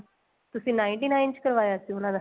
ਤੁਸੀਂ ninety nine ਚ ਕਰਵਾਇਆ ਸੀ ਉਹਨਾ ਦਾ